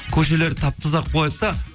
көшелерді тап таза қылып қояды да